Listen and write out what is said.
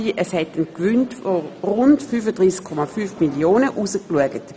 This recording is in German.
Es hat ein Gewinn von rund 35,5 Mio. Franken herausgeschaut.